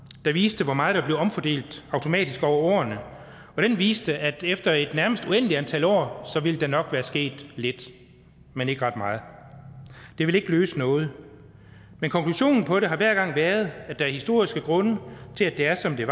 der viste hvor meget der blev omfordelt automatisk over årene og den viste at efter et nærmest uendeligt antal år ville der nok være sket lidt men ikke ret meget det ville ikke løse noget men konklusionen på det har hver gang været at der er historiske grunde til at det er som det